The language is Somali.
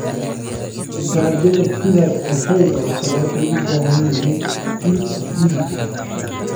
Dalagyada sida kafeega oo kale waxay u baahan yihiin ciid acidic ah.